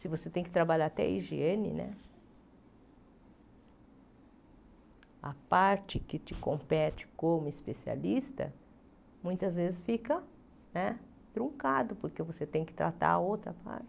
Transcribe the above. Se você tem que trabalhar até a higiene né, a parte que te compete como especialista, muitas vezes fica né truncado, porque você tem que tratar a outra parte.